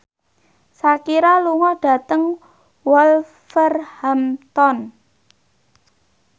Shakira lunga dhateng Wolverhampton